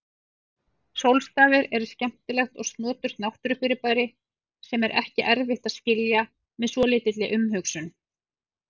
Sólstafir eru skemmtilegt og snoturt náttúrufyrirbæri sem er ekki erfitt að skilja með svolítilli umhugsun.